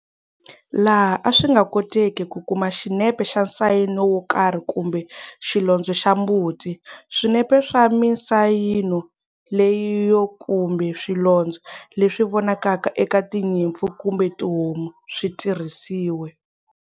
Laha a swi nga koteki ku kuma xinepe xa nsayino wo karhi kumbe xilondzo xa mbuti, swinepe swa minsayino leyiyo kumbe swilondzo leswi vonakaka eka tinyimpfu kumbe tihomu swi tirhisiwe.